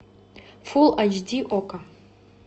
фул айч ди окко